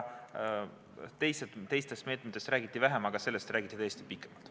Teistest meetmetest räägiti vähem, aga sellest räägiti tõesti pikalt.